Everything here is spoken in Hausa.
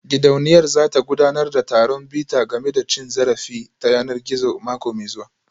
Gidauniyar za ta gudanar da taron bita game da cin zarafi ta yanar gizo mako mai zuwa